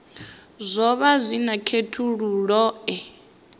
zwo vha zwi na khethululoe